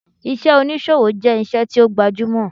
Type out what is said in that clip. Iṣẹ́ oníṣòwò jẹ́ iṣẹ́ tí ó gbajúmọ̀